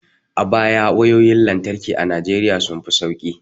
A baya wayoyin lantarki a Najeriya sun fi sauki